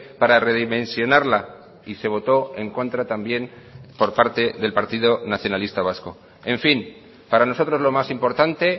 para redimensionarla y se votó en contra también por parte del partido nacionalista vasco en fin para nosotros lo más importante